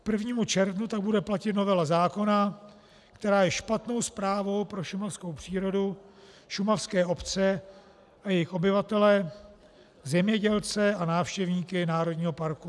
K 1. červnu tak bude platit novela zákona, která je špatnou zprávou pro šumavskou přírodu, šumavské obce a jejich obyvatele, zemědělce a návštěvníky národního parku.